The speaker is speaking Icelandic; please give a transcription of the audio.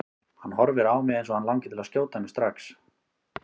Hann horfir á mig eins og hann langi til að skjóta mig strax.